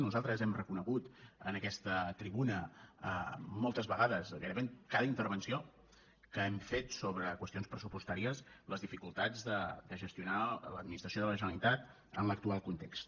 nos·altres hem reconegut en aquesta tribuna moltes ve·gades gairebé en cada intervenció que hem fet sobre qüestions pressupostàries les dificultats de gestionar l’administració de la generalitat en l’actual context